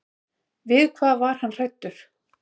Við hvað var hann hræddur?